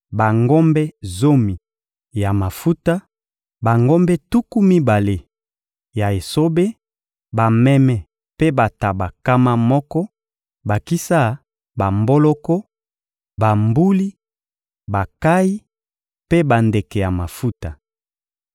bangombe zomi ya mafuta, bangombe tuku mibale ya esobe, bameme mpe bantaba nkama moko, bakisa bamboloko, bambuli, bankayi mpe bandeke ya mafuta.